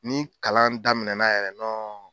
Ni kalan daminɛna yɛrɛ nɔn